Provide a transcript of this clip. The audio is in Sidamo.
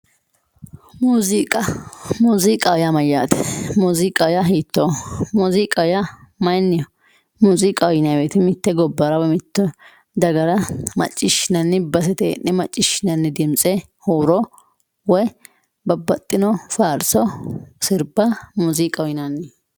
muuziiqa muuziiqaho yaa mayaate muziiqaho yaa hitooho muuziiqa yaa mayiiniho muuziiqaho yaa mitte gobbara woy mitte dagara maciishinanni basete heene maciishinanni dimtse huuro woy babbaxino faarso sirba muuziiqaho yinanni.